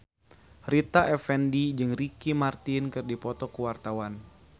Rita Effendy jeung Ricky Martin keur dipoto ku wartawan